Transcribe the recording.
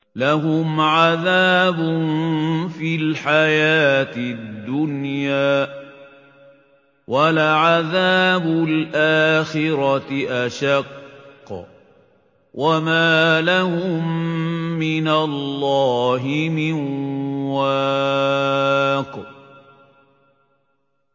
لَّهُمْ عَذَابٌ فِي الْحَيَاةِ الدُّنْيَا ۖ وَلَعَذَابُ الْآخِرَةِ أَشَقُّ ۖ وَمَا لَهُم مِّنَ اللَّهِ مِن وَاقٍ